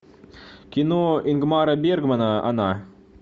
кино ингмара бергмана она